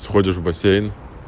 сходишь в бассейн